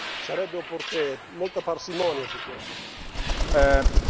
Quindi, sarebbe opportuno avere molta parsimonia su questo.